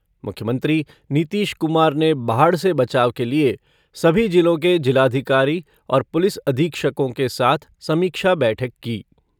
मुख्यमंत्री नीतीश कुमार ने बाढ़ से बचाव के लिये सभी जिलों के जिलाधिकारी और पुलिस अधीक्षकों के साथ समीक्षा बैठक की।